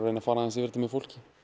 reyna að fara aðeins yfir það með fólki